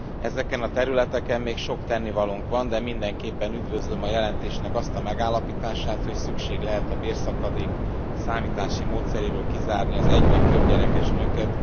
Ezeken a területeken még sok tennivalónk van, de mindenképpen üdvözlöm a jelentésnek azt a megállapítását, hogy szükség lehet a bérszakadék számítási módszeréből kizárni az egy vagy többgyerekes nőket.